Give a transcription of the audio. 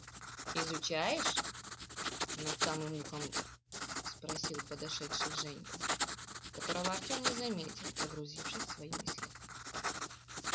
изучаешь над самым ухом спросил подошедший женька которого артём не заметил погрузившись в свои мысли